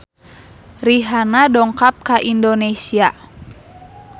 Rihanna dongkap ka Indonesia